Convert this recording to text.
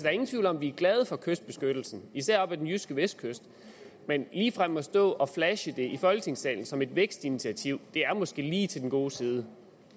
er ingen tvivl om at vi er glade for kystbeskyttelsen især oppe ved den jyske vestkyst men ligefrem at stå og flashe det i folketingssalen som et vækstinitiativ er måske lige til den gode side